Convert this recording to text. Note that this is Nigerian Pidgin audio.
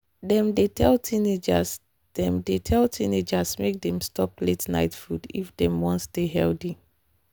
dem dey tell teenagers dey tell teenagers make dem stop late-night food if dem wan stay healthy.